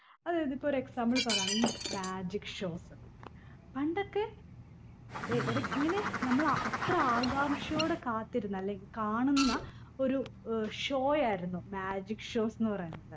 അതായത് ഇപ്പൊ ഒരു example പറയുകയാണെങ്കി magic shows പണ്ടൊക്കെ എ ഇടക്ക് ഇങ്ങനെ നമ്മള അത്ര ആകാംക്ഷയോടെ കാത്തിരുന്ന അല്ലെങ്കി കാണുന്ന ഒരു ഏർ show യായിരുന്നു magic shows ന്ന് പറയുന്നത്